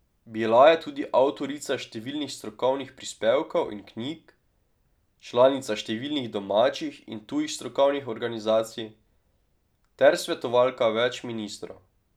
Bila je tudi avtorica številnih strokovnih prispevkov in knjig, članica številnih domačih in tujih strokovnih organizacij ter svetovalka več ministrov.